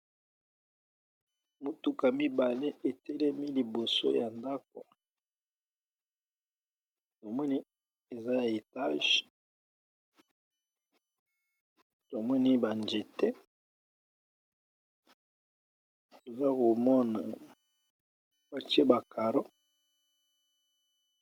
Motuka mibale etelemi liboso ya ndako tomoni eza etage tomoni ba njete toza komona batie ba caro.